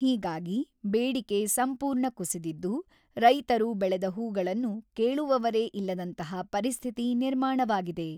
ಹೀಗಾಗಿ ಬೇಡಿಕೆ ಸಂಪೂರ್ಣ ಕುಸಿದಿದ್ದು, ರೈತರು ಬೆಳೆದ ಹೂಗಳನ್ನು ಕೇಳುವವರೇ ಇಲ್ಲದಂತಹ ಪರಿಸ್ಥಿತಿ ನಿರ್ಮಾಣವಾಗಿದೆ.